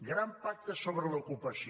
gran pacte sobre l’ocupació